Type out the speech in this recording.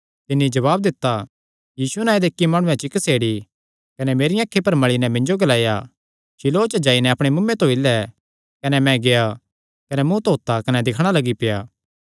तिन्नी जवाब दित्ता यीशु नांऐ दे इक्की माणुयैं चिक्क सेड़ी कने मेरियां अखीं पर मल़ी नैं मिन्जो ग्लाया शीलोह च जाई नैं अपणे मुँऐ धोई लै कने मैं गेआ कने मुँ धोत्ता कने दिक्खणा लग्गी पेआ